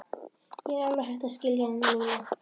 Ég er alveg hætt að skilja hann Lúlla.